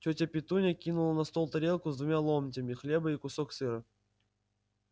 тётя петунья кинула на стол тарелку с двумя ломтями хлеба и кусок сыра